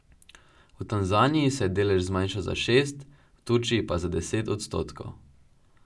V Tanzaniji se je delež zmanjšal za šest, v Turčiji pa za deset odstotkov.